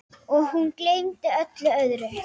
Og hún gleymdi öllu öðru.